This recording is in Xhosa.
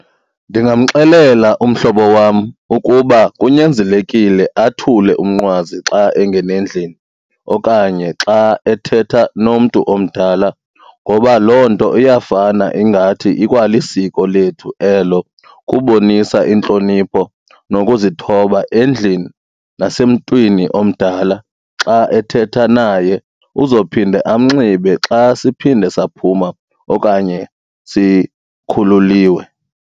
Ndingamxelela umhlobo wam ukuba kunyanzelekile athule umnqwazi xa engena endlini okanye xa ethetha nomntu omdala ngoba loo nto iyafana ingathi ikwalisiko lethu elo kubonisa intlonipho nokuzithoba endlini nasemntwini omdala xa ethetha naye, uzophinde amnxibe xa siphinde saphuma okanye sikhululiwe.